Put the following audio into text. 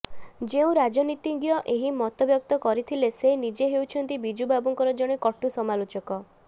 ଯେଉଁ ରାଜନୀତିଜ୍ଞ ଏହି ମତବ୍ୟକ୍ତ କରିଥିଲେ ସେ ନିଜେ ହେଉଛନ୍ତି ବିଜୁବାବୁଙ୍କର ଜଣେ କଟୁ ସମାଲୋଚକ